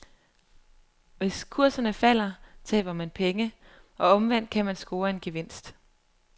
Hvis kurserne falder, taber man penge, og omvendt kan man score en gevinst.